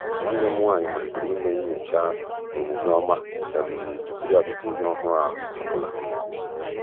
nwànnè m nwànyị màlị́tèrè ị́mé nyòchá ọ́mụ́mé ọma tupu yá azụ́ta ìhè ọ́hụ́rụ́ ọ bụla.